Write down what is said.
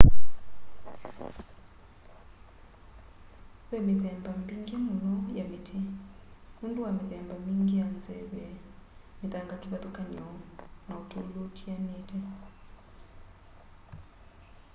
ve mithemba mingi muno ya miti nundu wa mithemba mingi ya nzeve mithanga kivathukany'o na utulu utianite